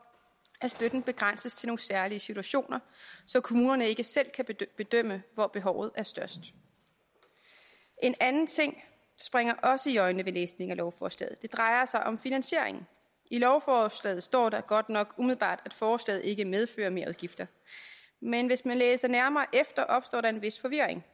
at støtten begrænses til nogle særlige situationer så kommunerne ikke selv kan bedømme hvor behovet er størst en anden ting springer også i øjnene ved læsning af lovforslaget det drejer sig om finansieringen i lovforslaget står der godt nok at forslaget ikke umiddelbart medfører merudgifter men hvis man læser nærmere efter opstår der en vis forvirring